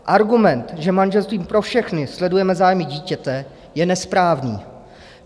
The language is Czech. Argument, že manželstvím pro všechny sledujeme zájmy dítěte, je nesprávný.